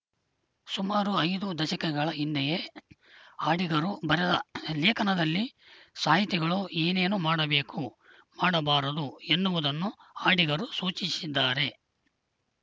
ಸುಮಾರು ಐದು ದಶಕಗಳ ಹಿಂದೆಯೇ ಅಡಿಗರು ಬರೆದ ಲೇಖನದಲ್ಲಿ ಸಾಹಿತಿಗಳು ಏನೇನು ಮಾಡಬೇಕು ಮಾಡಬಾರದು ಎನ್ನುವುದನ್ನು ಆಡಿಗರು ಸೂಚಿಸಿದ್ದಾರೆ